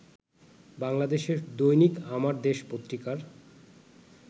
বাংলাদেশের দৈনিক আমার দেশ পত্রিকার